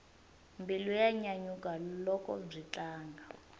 mbilu ya nyanyuka loko byi tlanga